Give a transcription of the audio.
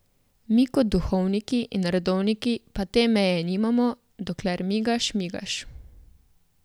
Mi kot duhovniki in redovniki pa te meje nimamo, dokler migaš, migaš.